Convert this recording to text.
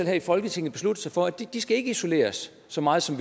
her i folketinget besluttet sig for at de ikke skal isoleres så meget som